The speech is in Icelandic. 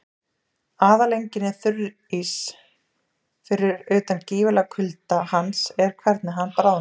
Aðaleinkenni þurríssins, fyrir utan gífurlegan kulda hans, er hvernig hann bráðnar.